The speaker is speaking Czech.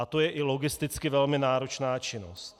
A to je i logisticky velmi náročná činnost.